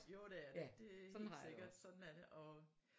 Jo det er det det helt sikkert sådan er det og